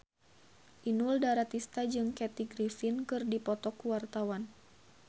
Inul Daratista jeung Kathy Griffin keur dipoto ku wartawan